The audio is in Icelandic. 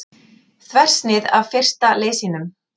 Þversnið af fyrsta leysinum.